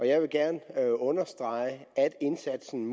jeg vil gerne understrege at indsatsen